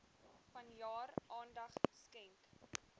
vanjaar aandag skenk